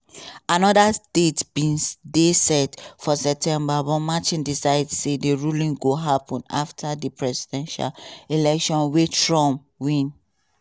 anoda date bin dey set for september but merchan decide say di ruling go happun afta di presidential election wey trump win.